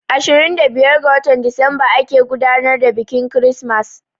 Ashirin da biyar ga watan Disamba ake gudanar da biƙin kirismas